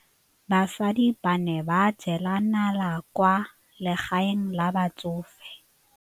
Basadi ba ne ba jela nala kwaa legaeng la batsofe.